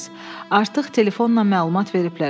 Artıq telefonla məlumat veriblər.